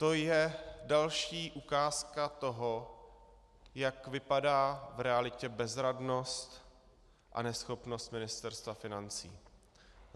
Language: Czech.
To je další ukázka toho, jak vypadá v realitě bezradnost a neschopnost Ministerstva financí.